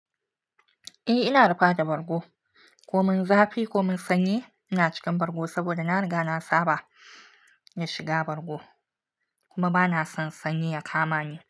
Eh, ina rufa da bargo, ko mun zafi ko mun sanyi ina cikin bargo, saboda na riga na saba da shiga bargo kuma bana son sanyi ya kama ni.